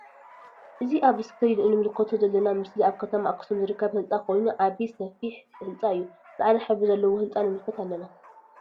አእዚ አብ እስክሪን እንምልከቶ ዘለና ምስሊ አብ ከተማ አክሱም ዝርከብ ህንፃ ኮይኑ ዓብይ ስፊሕ ህንፃ እዩ::ፃዕዳ ሕብሪ ዘለዎ ህንፃ ንምልከት አለና::